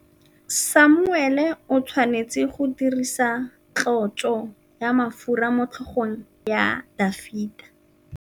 Samuele o tshwanetse go dirisa tlotsô ya mafura motlhôgong ya Dafita.